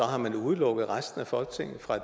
har man udelukket resten af folketinget fra